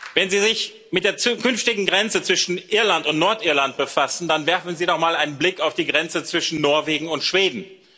Wenn Sie sich mit der zukünftigen Grenze zwischen Irland und Nordirland befassen, dann werfen Sie doch mal einen Blick auf die Grenze zwischen Norwegen und Schweden.